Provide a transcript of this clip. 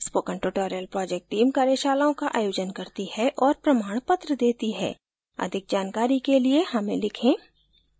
spoken tutorial project team कार्यशालाओं का आयोजन करती है और प्रमाणपत्र देती है अधिक जानकारी के लिए हमें लिखें